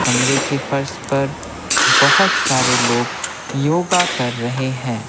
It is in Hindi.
कमरे के फर्श पर बहुत सारे लोग योगा कर रहे हैं।